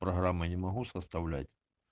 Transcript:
программы я не могу составлять